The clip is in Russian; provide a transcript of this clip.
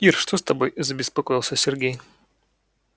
ир что с тобой забеспокоился сергей